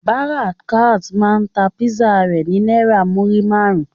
Barakat ma ta Písà rẹ ni naira muri márùn.